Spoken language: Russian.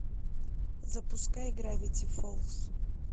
запускай гравити фолз